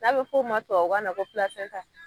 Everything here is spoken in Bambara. N'a bɛ f'o ma tubabukanna ko